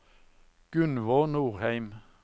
Gunvor Norheim